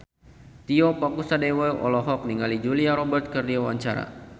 Tio Pakusadewo olohok ningali Julia Robert keur diwawancara